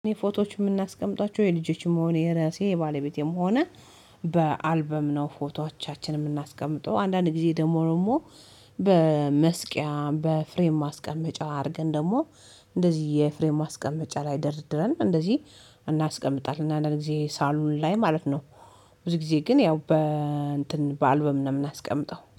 እኔ ፎቶዎች የምናስቀምጧቸው የልጆችም ሆነ የራሴ የባለቤቴም ሆነ በአልበም ነው ፎቶቻችንን የምናስቀምጠው አንዳንድ ጊዜ ደግሞ ደግሞ በመስቀያ በፍሬም ማስቀመጫ አድርገን ደግሞ እንደዚህ የፍሬም ማስቀመጫ ላይ ደርድረን እንደዚህ እናስቀምጣለን አንዳንድ ጊዜ ሳሎን ላይ ማለት ነው። ብዙ ጊዜ ግን ያው በአልበም ነው የምናስቀምጠው